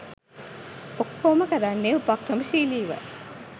ඔක්කොම කරන්නේ උපක්‍රමශීලීව.